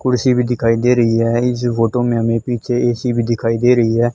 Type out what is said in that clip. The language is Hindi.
कुर्सी भी दिखाई दे रही है इस फोटो में हमें पीछे ए_सी भी दिखाई दे रही है।